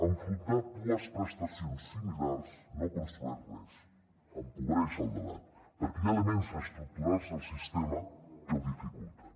enfrontar dues prestacions similars no construeix res empobreix el debat perquè hi ha elements estructurals del sistema que ho dificulten